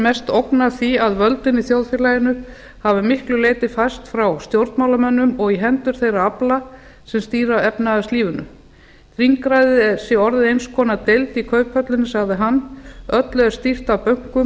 mest ógn af því að völdin í þjóðfélaginu hafi að miklu leyti færst frá stjórnmálamönnum og í hendur þeirra afla sem stýra efnahagslífinu þingræðið sé orðið eins konar deild í kauphöllum sagði hann öllu er stýrt af bönkum